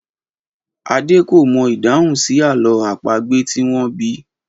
Adé kò mọ ìdáhùn sí àlọ́ àpagbè tí wọ́n bi í.